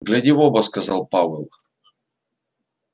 гляди в оба сказал пауэлл